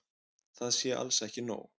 Það sé alls ekki nóg.